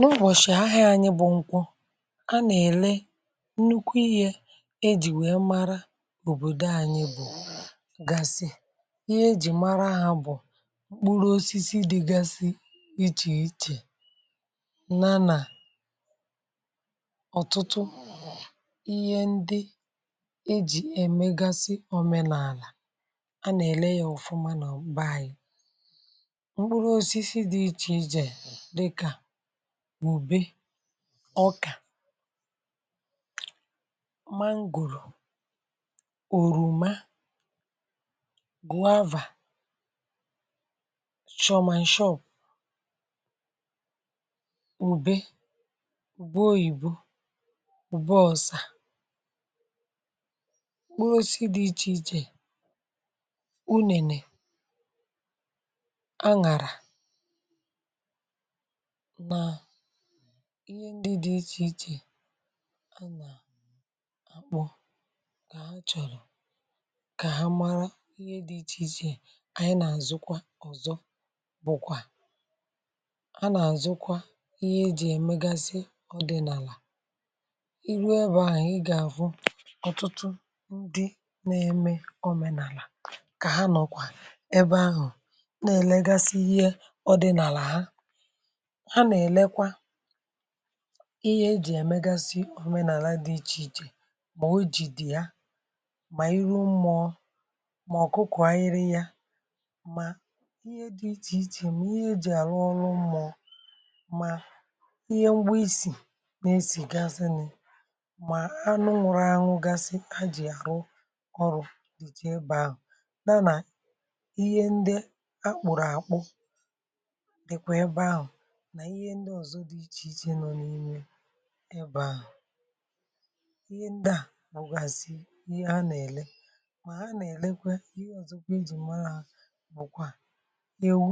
N’ụbọ̀shị̀ ahịa anyị bụ̀ nkwụ, a nà-èle nnukwu ihė ejì wee mara òbòdò anyị bụ̀ gàsị̀, ihe ejì mara ha bụ̀, mkpụrụ osisi dịgasi ichè ichè, na nà ọ̀tụtụ ihe ndị ejì emegasị òmenàlà, a nà-èle ya ọ̀fụma n’ọ̀bàyị̀. mkpụrụ osisi dị̇ ichè ichè dịka ọkà, mangòrò, oroma, gwùavà, shọ̀ọ̀ màǹshọ̀ọ̀, ùbe gbuo, ìbu gbu ọ̀sà, gbuo si di iche ichè, unèlè, a gàrà, ma ịhe ndị dị iche ichè a nà akpụ nà a chọ̀rọ̀ kà ha mara ihe dị ichè ichè ànyị nà àzụkwa. ọ̀zọ bụ̀kwà, a nà àzụkwa ihe ejì èmégazi ọdị̀nàlà, iru ebe àhụ̀ ị gà àfụ ọ̀tụtụ ndị nȧ-ėmė ọmènàlà kà ha nọkwà ebe ahụ̀ nà-èlegasi ihe ọdị̀nàlà ha, ha na elekwa ihe e jì èmegasị omenàla dị ichè ichè, mà ọ̀ ojì dị̀ ya, mà iru mmụọ̇, mà ọ̀kụkụ̀ anyị rị yȧ, mà ihe dị ichè ichè, mà ihe jì àrụ ọrụ mmụọ̇, mà ihe mgbụ isì na-esì gasị nị, mà anụ ṅụrọ anwụ gasị a jì àrụ ọrụ̇ dị jee bẹ ahụ̀, dànà ihe ndị akpụrụ̀ akpụ dịkwẹ bẹ ahụ̀, ǹbe à. ihe ndị à wùgàsì ihe a nà-èle mà ha nà-èlekwe ihe ọ̀zọkwa dị̀ mara bụ̀kwa ewu,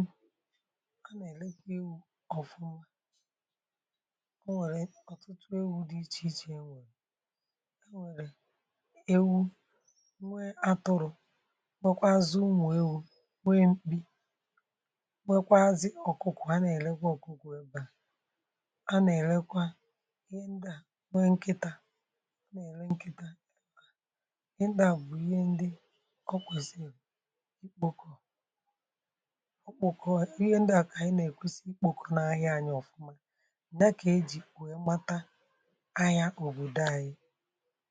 a nà-èlekwa ewu̇ ọ̀fụma. o nwèrè ọ̀tụtụ ewu̇ dị ichè ichè, e nwèrè ewu nwe atụrụ, beekwazị unù ewu̇, nwe mkpi, bekwazị ọ̀kụkụ, a nà-èlekwe ọ̀kụkụ ebe à. ịhe ndu a nwe nkịtȧ ọ na-ere nkịtȧ ị ndu a bụ̀ ịhe ndu ọkwuzi ikpȯkọ ọ kpòkọ ịhe ndu a kà ànyị na-èkwusi ịkpòkọ na ahịa anyị ọ̀fụma na ka e jì pụ̀ọ mmata ahịa òbòdò anyị.